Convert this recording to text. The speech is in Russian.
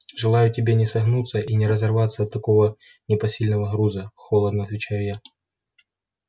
желаю тебе не согнуться и не разорваться от такого непосильного груза холодно отвечаю я